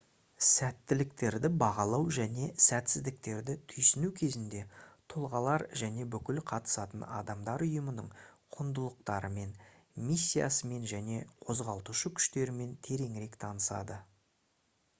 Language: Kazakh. сәттіліктерді бағалау және сәтсіздіктерді түйсіну кезінде тұлғалар және бүкіл қатысатын адамдар ұйымның құндылықтарымен миссиясымен және қозғалтушы күштерімен тереңірек танысады